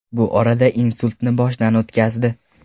Bu orada insultni boshdan o‘tkazdi.